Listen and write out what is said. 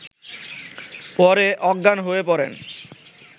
পরে অজ্ঞান হয়ে পড়েন